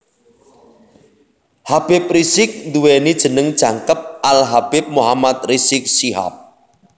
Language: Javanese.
Habib Rizieq nduweni jeneng jangkep Al Habib Muhammad Rizieq Syihab